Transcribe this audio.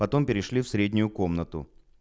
потом перешли в среднюю комнату